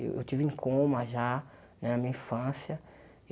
Eu estive em coma já, na minha infância.